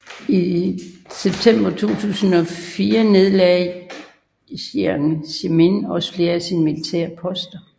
I september 2004 nedlagde Jiang Zemin også flere af sine militære poster